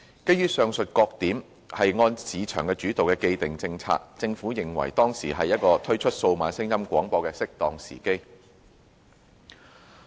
基於上述各點，並按市場主導的既定政策，政府認為當時乃屬推出數碼廣播的適當時機。